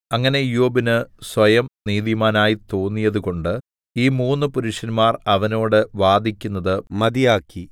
അങ്ങനെ ഇയ്യോബിന് സ്വയം നീതിമാനായി തോന്നിയതുകൊണ്ട് ഈ മൂന്നു പുരുഷന്മാർ അവനോട് വാദിക്കുന്നത് മതിയാക്കി